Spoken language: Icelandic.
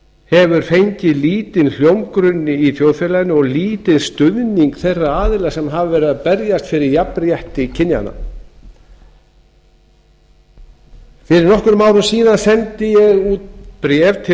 hefur lítinn hljómgrunn í þjóðfélaginu og lítinn stuðning þeirra aðila sem hafa verið að berjast fyrir jafnrétti kynjanna fyrir nokkrum árum síðan sendi ég út bréf til